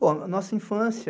Bom, na nossa infância,